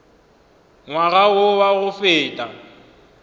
ngwaga wo wa go feta